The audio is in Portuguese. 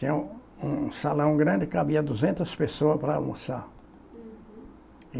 Tinha um um salão grande, cabia duzentas pessoas para almoçar. Uhum